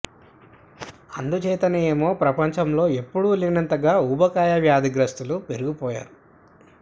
అందుచేతనే ఏమో ప్రపంచం లో ఎప్పుడు లేనంతగా ఊబకాయ వ్యాధిగ్రస్థులు పెరిగిపోయారు